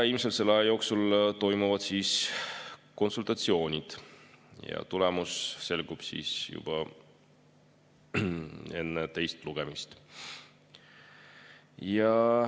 Ilmselt selle aja jooksul toimuvad konsultatsioonid ja tulemus selgub juba enne teist lugemist.